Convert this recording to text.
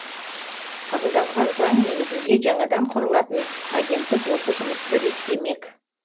қабылданған заң негізінде жаңадан құрылатын агенттік осы жұмысты реттемек